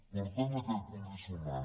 per tant aquell condicionant